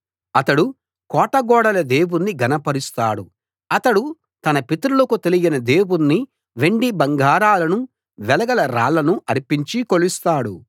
అతడు కోట గోడల దేవుణ్ణి ఘన పరుస్తాడు అతడు తన పితరులకు తెలియని దేవుణ్ణి వెండి బంగారాలను వెలగల రాళ్ళను అర్పించి కొలుస్తాడు